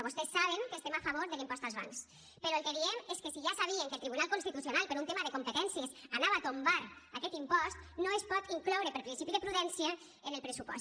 vostès saben que estem a favor de l’impost als bancs però el que diem és que si ja sabien que el tribunal constitucional per un tema de competències anava a tombar aquest impost no es pot incloure per principi de prudència en el pressupost